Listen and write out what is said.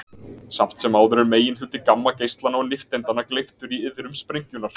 Samt sem áður er meginhluti gammageislanna og nifteindanna gleyptur í iðrum sprengjunnar.